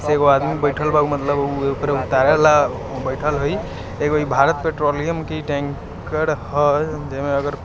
एगो आदमी बेठल वा मतम्ब ऊ ओके तारे ला बैठल हाई इ एगो भारतीय पेट्रोलियम की टेंकर है। जिसमे--